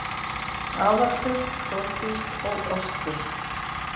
Aðalsteinn, Þórdís og Ostur